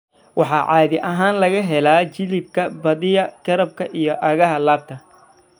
Waxaa caadi ahaan laga helaa jilibka, badiyaa garabka iyo aagga laabta.